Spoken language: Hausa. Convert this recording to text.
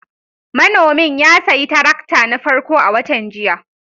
Manomin ya sayi tarakta na farko a watan jiya